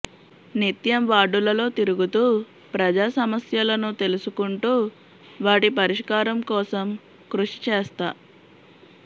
నిత్యం వార్డులలో తిరుగుతూ ప్రజా సమస్యలను తెలుసుకుంటూ వాటి పరిష్కారం కోసం కృషి చేస్తా